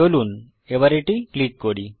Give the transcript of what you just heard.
চলুন এবার এটি ক্লিক করি